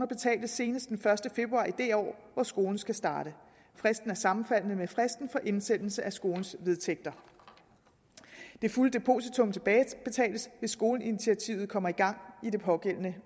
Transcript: betales senest den første februar i det år hvor skolen skal starte fristen er sammenfaldende med fristen for indsendelse af skolens vedtægter det fulde depositum tilbagebetales hvis skoleinitiativet kommer i gang i det pågældende